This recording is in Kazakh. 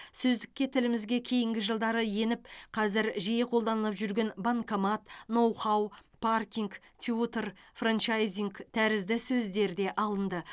сөздікке тілімізге кейінгі жылдары еніп қазір жиі қолданылып жүрген банкомат ноу хау паркинг тьютор франчайзинг тәрізді сөздер де алынды